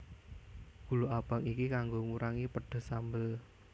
Gula abang iki kanggo ngurangi pedes sambel